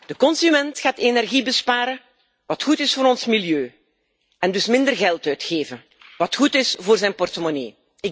De consument gaat energie besparen, wat goed is voor ons milieu, en dus minder geld uitgeven, wat goed is voor zijn portemonnee.